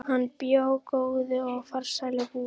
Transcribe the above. Hann bjó góðu og farsælu búi.